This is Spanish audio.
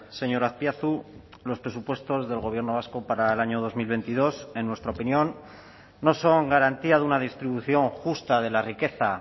señor azpiazu los presupuestos del gobierno vasco para el año dos mil veintidós en nuestra opinión no son garantía de una distribución justa de la riqueza